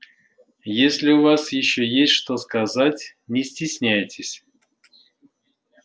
если у вас ещё есть что сказать не стесняйтесь